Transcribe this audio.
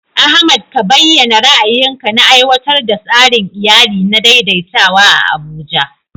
Ahmad ka bayyana ra'ayinka na aiwatar da tsarin iyali na daidaitawa a Abuja.